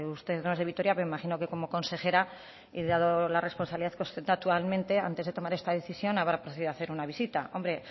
usted no es de vitoria pero me imagino que como consejera y dado la responsabilidad que ostenta actualmente antes de tomar esta decisión habrá procedido a hacer una visita hombre